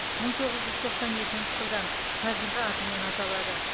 мың тоғыз жүз тоқсан екінші жылдан қазырғы атымен аталады